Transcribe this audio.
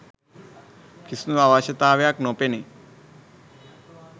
කිසිදු අවශ්‍යතාවයක් නොපෙනේ.